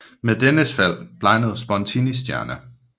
Med dennes fald blegnede Spontinis stjerne